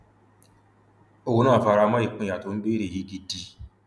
òun náà fara mọ ìpínyà tó ń béèrè yìí gidi